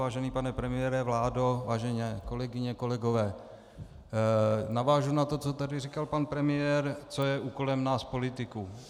Vážený pane premiére, vládo, vážené kolegyně, kolegové, navážu na to, co tady říkal pan premiér, co je úkolem nás politiků.